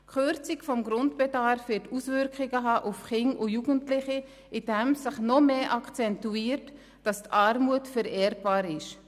Die Kürzung des Grundbedarfs wird Auswirkungen auf Kinder und Jugendliche haben, indem sich noch stärker akzentuiert, dass die Armut vererbbar ist.